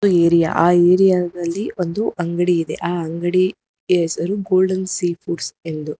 area ಆ area ದಲ್ಲಿ ಒಂದು ಅಂಗಡಿ ಇದೆ ಆ ಅಂಗಡಿಯ ಹೆಸರು ಗೋಲ್ಡನ್ ಸೀ ಫುಡ್ಸ್ ಎಂದು--